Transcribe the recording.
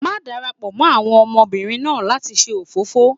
má darapọ mọ àwọn ọmọbìnrin náà lati ṣe òfófó!